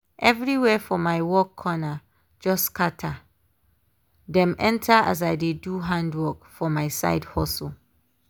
everywhere for my work corner just scatter—dem enter as i dey do handwork for my side hustle.